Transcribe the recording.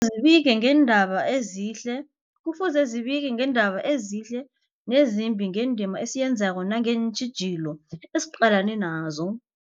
zibike ngeendaba ezihle nezimbi, ngendima esiyenzako nangeentjhijilo esiqalene nazo.